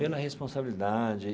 Pela responsabilidade.